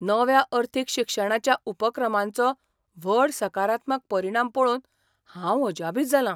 नव्या अर्थीक शिक्षणाच्या उपक्रमांचो व्हड सकारात्मक परिणाम पळोवन हांव अजापीत जालां.